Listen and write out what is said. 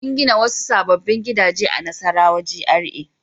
An gina wasu sabbin gidaje a Nassarawa GRA.